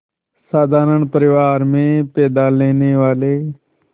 साधारण परिवार में पैदा लेने वाले